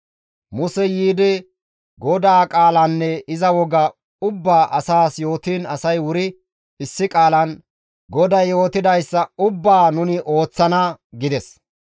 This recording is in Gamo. Musey yiidi GODAA qaalanne iza woga ubbaa asaas yootiin asay wuri issi qaalan, «GODAY yootidayssa ubbaa nuni ooththana» gides.